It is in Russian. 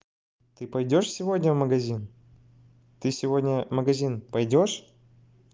ты пойдёшь сегодня в магазин ты сегодня магазин пойдёшь